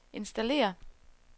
installér